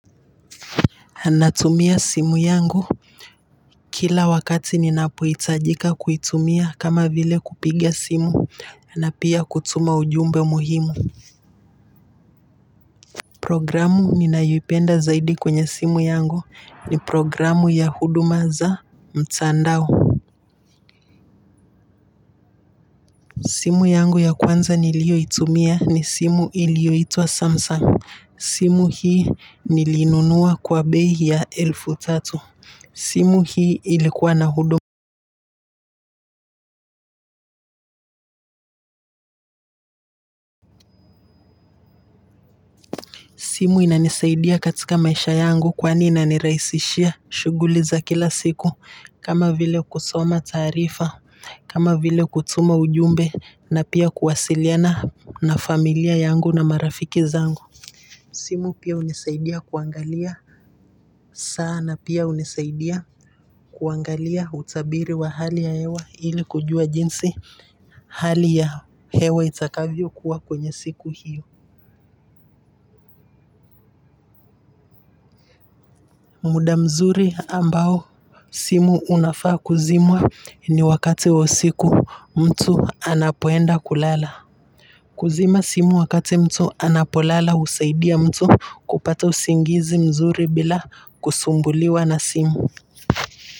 Natumia simu yangu. Kila wakati ninapohitajika kuitumia kama vile kupiga simu na pia kutuma ujumbe muhimu. Programu ninayoipenda zaidi kwenye simu yangu ni programu ya huduma za mtandao. Simu yangu ya kwanza nilioitumia ni simu iliyoitwa Samsung. Simu hii nilinunua kwa bei ya elfu tatu. Simu hii ilikuwa na huduma. Simu inanisaidia katika maisha yangu kwani ina nirahisishia shughuli za kila siku kama vile kusoma taarifa kama vile kutuma ujumbe na pia kuwasiliana na familia yangu na marafiki zangu Simu pia hunisaidia kuangalia saa na pia hunisaidia kuangalia utabiri wa hali ya hewa ili kujua jinsi hali ya hewa itakavyo kuwa kwenye siku hiyo muda mzuri ambao simu unafaa kuzimwa ni wakati wa usiku mtu anapoenda kulala kuzima simu wakati mtu anapo lala husaidia mtu kupata usingizi mzuri bila kusumbuliwa na simu.